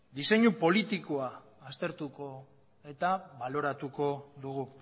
diseinu politikoa aztertu eta baloratuko dugu